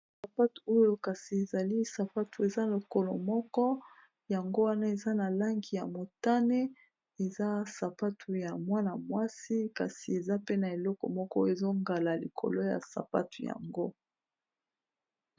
Sapatu oyo kasi ezali sapatu eza lokolo moko yango wana eza na langi ya motane, eza sapatu ya mwana mwasi kasi eza pe na eleko moko ezongala likolo ya sapatu yango.